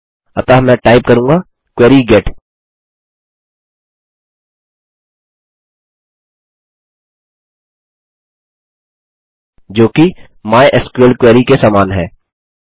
अतः मैं टाइप करूँगा क्वेरी गेट जो कि माइस्क्ल क्वेरी के समान है